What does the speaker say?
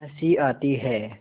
हँसी आती है